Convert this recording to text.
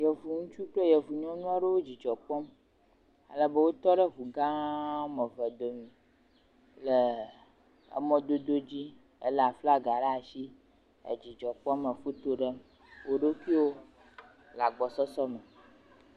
Yevu ŋutsu kple yevu nyɔnu aɖewo dzidzɔ kpɔm ale be wotɔ ɖe ŋu gã eve dome le mɔ dodo dzi elé flaga ɖe asi le dzidzɔ kpɔm le foto ɖem woɖokuiwo le agbɔsɔsɔ me.